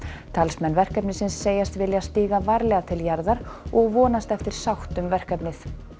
talsmenn verkefnisins segjast vilja stíga varlega til jarðar og vonast eftir sátt um verkefnið